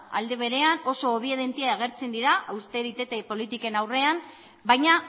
alde berean oso obediente agertzen dira austeritate politiken aurrean baina